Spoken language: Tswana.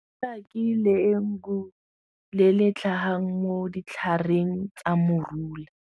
A ke le le tlhagang mo ditlhareng tsa morula.